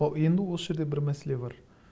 енді осы жерде бір мәселе бар